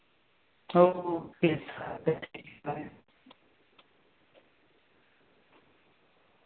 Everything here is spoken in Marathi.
हो हो